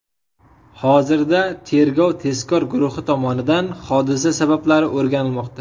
Hozirda tergov-tezkor guruhi tomonidan hodisa sabablari o‘rganilmoqda.